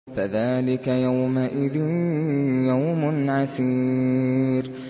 فَذَٰلِكَ يَوْمَئِذٍ يَوْمٌ عَسِيرٌ